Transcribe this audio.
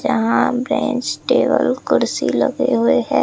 यहां bench table कुर्सी लगे हुए है।